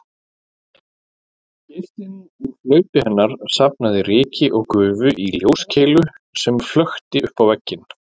Geislinn úr hlaupi hennar safnaði ryki og gufu í ljóskeilu sem flökti uppá vegginn